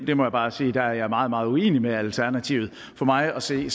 jeg må bare sige at der er jeg meget meget uenig med alternativet for mig at se